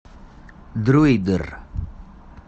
дроидер